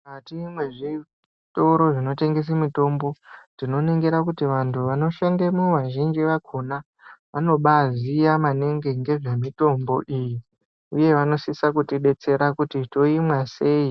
Mukati mwezvitoro zvinotengese mitombo, tinoningira kuti vantu vanoshandemo vazhinji vakhona, vanobaaziya maningi ngezvemitombo iyi, uye vanosisa kutidetsera kuti, toimwa sei